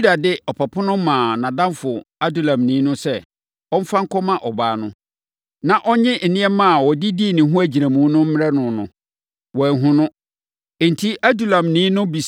Yuda de ɔpapo no maa nʼadamfo Adulamni no sɛ, ɔmfa nkɔma ɔbaa no, na ɔnnye nneɛma a ɔde dii ne ho agyinamu no mmrɛ no no, wanhu no. Enti, Adulamni no